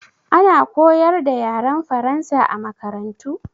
Ana koyar da yaren Faransa a makarantu?